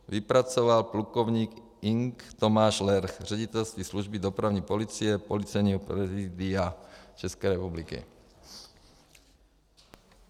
Vypracoval plukovník Ing. Tomáš Lerch, Ředitelství služby dopravní policie Policejního prezidia České republiky.